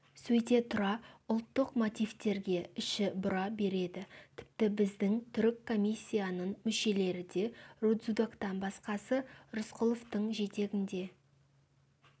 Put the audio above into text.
сөйте тұра ұлттық мотивтерге іші бұра береді тіпті біздің түрік комиссияның мүшелері де рудзутактан басқасы рысқұловтың жетегінде